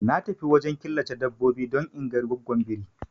Na tafi wajen killace dabbobi don inga goggon biri